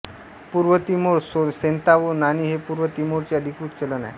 पूर्व तिमोर सेंतावो नाणी हे पूर्व तिमोरचे अधिकृत चलन आहे